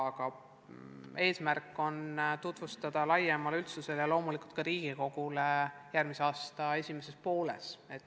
Aga eesmärk on tutvustada dokumenti laiemale üldsusele ja loomulikult ka Riigikogule järgmise aasta esimeses pooles.